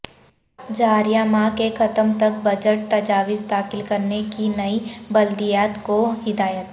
جاریہ ماہ کے ختم تک بجٹ تجاویز داخل کرنے کی نئی بلدیات کو ہدایت